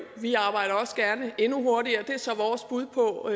vi arbejder også gerne endnu hurtigere det er så vores bud på